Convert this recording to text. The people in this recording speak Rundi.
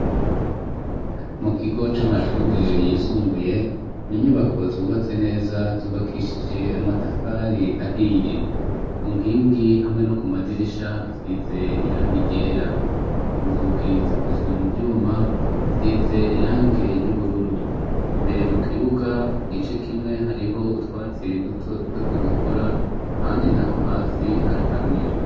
Mu kigo c'amashure yisumbuye ni inyubako zubatse neza zubakishije amatafari ahiye. Ku nkingi hamwe no ku madirisha hasize irangi ryera. Inzugi zikozwe mu vyuma zisize irange ry'ubururu. Imbere mu kibuga igice kimwe hariho utwatsi duto duto tugikura, ahandi naho hasi haraharuye.